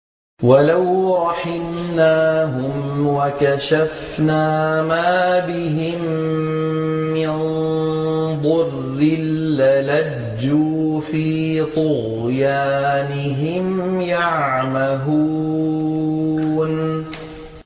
۞ وَلَوْ رَحِمْنَاهُمْ وَكَشَفْنَا مَا بِهِم مِّن ضُرٍّ لَّلَجُّوا فِي طُغْيَانِهِمْ يَعْمَهُونَ